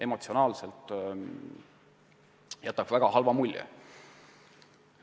Emotsionaalselt jätab see, jah, väga halva mulje.